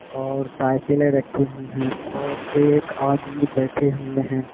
और साइकिले रखे हुए है और एक आदमी बैठे हुए है।